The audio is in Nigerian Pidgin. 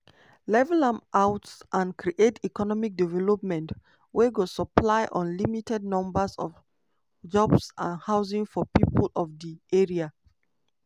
level am out and create economic development wey go supply unlimited numbers of jobs and housing for pipo of di area.